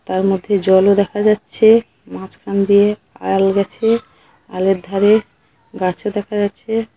তার মধ্যে জলও দেখা যাচ্ছে মাঝখান দিয়ে আল গেছে আলের ধারে গাছে ও দেখা যাচ্ছে।